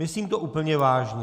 Myslím to úplně vážně.